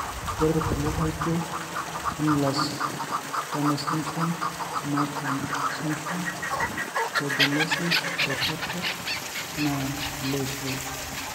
ore ilkulie laijio, Ehlers Danlos sydromr, Marfan Syndrome, osteogenesis imperfecta na ileishoi.